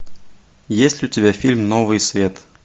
есть ли у тебя фильм новый свет